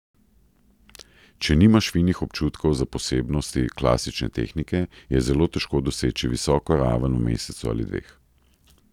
Če nimaš finih občutkov za posebnosti klasične tehnike, je zelo težko doseči visoko raven v mesecu ali dveh.